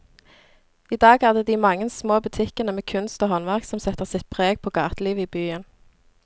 I dag er det de mange små butikkene med kunst og håndverk som setter sitt preg på gatelivet i byen.